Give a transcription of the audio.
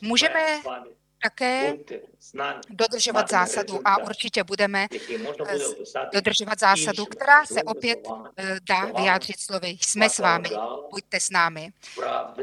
Můžeme také dodržovat zásadu, a určitě budeme dodržovat zásadu, která se opět dá vyjádřit slovy "jsme s vámi, buďte s námi".